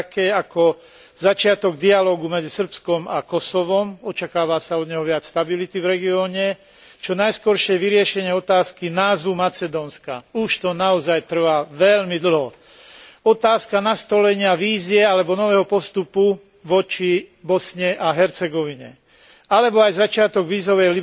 Medzi ne patrí začiatok dialógu medzi Srbskom a Kosovom očakáva sa od neho viac stability v regióne, čo najskoršie vyriešenie otázky názvu Macedónska tento proces trvá už naozaj veľmi dlho, otázka nastolenia vízie alebo nového postupu voči Bosne a Hercegovine alebo aj začiatok vízovej